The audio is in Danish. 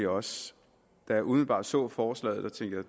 også da jeg umiddelbart så forslaget tænkte